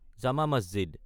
জামা মছজিদ